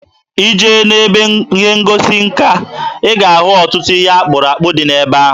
Ị jee n'ebe ihe ngosi nka, ị ga-ahụ ọtụtụ ihe akpụrụ akpụ dị ebe ahụ.